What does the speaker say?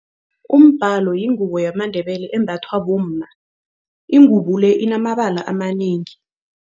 Umbhalo yingubo yamaNdebele embathwa bomma. Ingubo le inamabala amanengi.